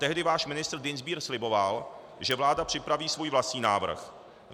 Tehdy váš ministr Dienstbier sliboval, že vláda připraví svůj vlastní návrh.